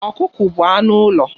Ọkụkọ bụ anụ ụlọ.